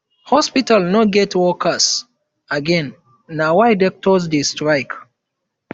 hospitals no get workers again na why doctors dey strike